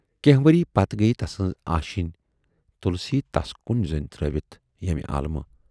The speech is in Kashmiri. کینہہ ؤری پتہٕ گٔیہِ تسٕنز آشینی تۅلسی ؔتَس کُن زون ترٲوِتھ ییمہِ عالمہٕ۔